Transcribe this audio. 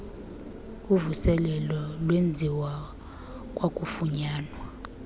uvuselelo lwenziwa kwakufunyanwa